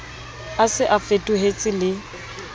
a se a fetohetse le